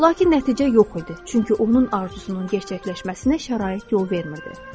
Lakin nəticə yox idi, çünki onun arzusunun gerçəkləşməsinə şərait yol vermirdi.